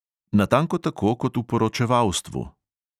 Natanko tako kot v poročevalstvu.